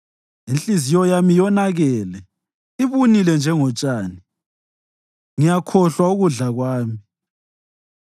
Inhliziyo yami yonakele, ibunile njengotshani; ngiyakhohlwa ukudla kwami.